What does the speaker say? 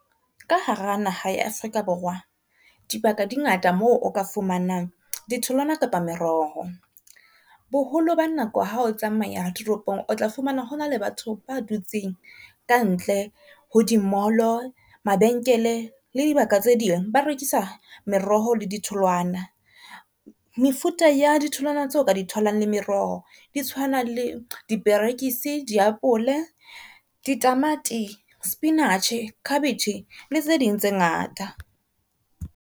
Ka hara naha ya Afrika Borwa, dibaka di ngata moo o ka fumanang ditholwana kapa meroho. Boholo ba nako ha o tsamaya toropong, o tla fumana ho na le batho ba dutseng kantle ho di mall-o, mabenkele le dibaka tse ding. Ba rekisa meroho le di tholwana mefuta ya di tholwana tseo ka di tholang le meroho di tshwana le diperekisi, diapole, ditamati, sepinatjhe, khabetjhe le tse ding tse ngata.